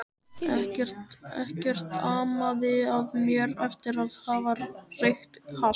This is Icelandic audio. Ekkert amaði að mér eftir að hafa reykt hass.